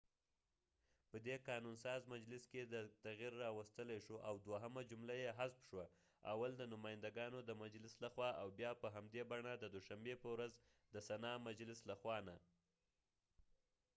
په دي قانون ساز مجلس کې تغیر راوستلی شو او دوهمه جمله یې حذف شوه اول د نماینده ګانو د مجلس له خوا او بیا په همدي بڼه د دوشنبی په ورځ د سنا مجلس له خوا نه